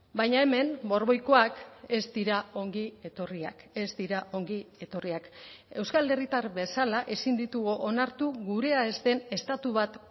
baina hemen borboikoak ez dira ongi etorriak ez dira ongi etorriak euskal herritar bezala ezin ditugu onartu gurea ez den estatu bat